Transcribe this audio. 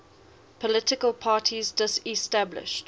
political parties disestablished